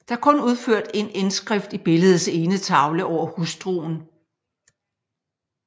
Der er kun udført en indskrift i billedets ene tavle over hustruen